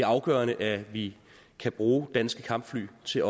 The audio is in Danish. afgørende at vi kan bruge danske kampfly til